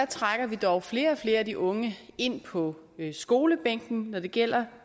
trækker vi dog flere og flere af de unge ind på skolebænken når det gælder